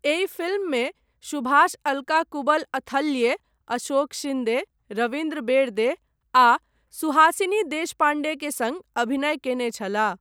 एहि फ़िल्ममे सुभाष अलका कुबल अथल्ये, अशोक शिन्दे, रविन्द्र बेरदे आ सुहासिनी देशपाण्डे के सङ्ग अभिनय कयने छलाह।